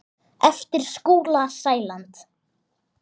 eftir Skúla Sæland.